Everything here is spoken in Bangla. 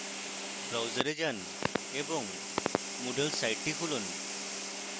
browser যান এবং moodle সাইটটি খুলুন